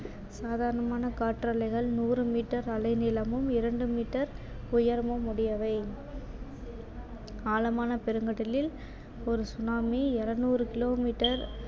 சாதாரணமான காற்றாலைகள் நூறு மீட்டர் அலை நீளமும் இரண்டு மீட்டர் உயரமும் உடையவை ஆழமான பெருங்கடலில் ஒரு tsunami இருநூறு kilometer